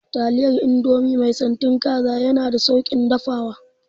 Taliyar indomie mai santin kaza yana da sauƙin dafawa